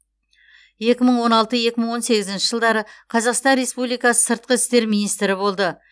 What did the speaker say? екі мың он алты екі мың он сегізінші жылдары қазақстан республикасы сыртқы істер министрі болды